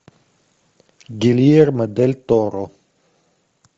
гильермо дель торо